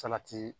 Salati